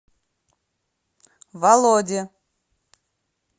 володе